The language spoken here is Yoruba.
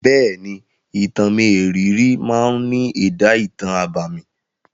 Bẹ́è ni, Ìtàn mérìíìírì máa ní èdá ìtàn abámi.